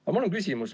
Aga mul on ka küsimus.